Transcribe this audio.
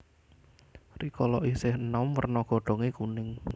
Rikala isih enom werna godhonge kuning